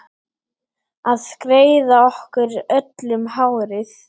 Að greiða okkur öllum hárið.